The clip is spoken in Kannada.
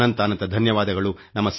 ಅನಂತಾನಂತ ಧನ್ಯವಾದಗಳು